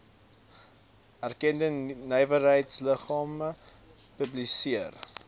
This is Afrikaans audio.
erkende nywerheidsliggame publiseer